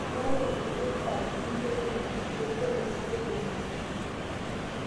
ingurai enkulupuoni aipi niyilou enetieu pee idol esidai teunore